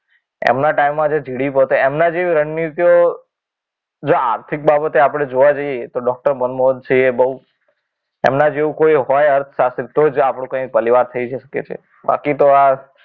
એમના ટાઈમે જે જીડીપી હતો એમના જેવી રણનીતિઓ તો જો આર્થિક બાબતે આપણે જોવા જઈએ તો ડોક્ટર મનમોહન સિંહ એ બહુ એમના જેવું હોય કોઈ અર્થશાસ્ત્રી તો જ આપણો ભલે વાર થઈ શકે છે. બાકી તો, આ